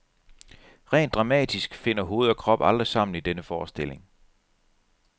Rent dramatisk finder hoved og krop aldrig sammen i denne forestilling.